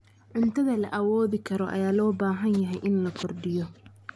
Cuntada la awoodi karo ayaa loo baahan yahay in la kordhiyo.